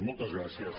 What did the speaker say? moltes gràcies